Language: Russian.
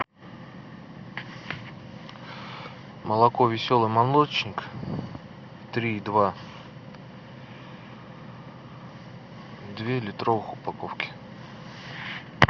молоко веселый молочник три и два две литровых упаковки